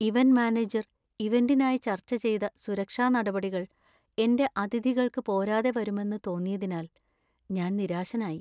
Event manager ഇവന്‍റിനായി ചർച്ച ചെയ്ത സുരക്ഷാ നടപടികൾ എന്‍റെ അതിഥികൾക്ക് പോരാതെ വരുമെന്ന് തോന്നിയതിനാൽ ഞാൻ നിരാശനായി.